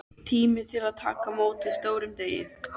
Tími til að taka á móti stórum degi.